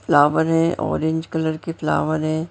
Flower है orange colour के flower हैं।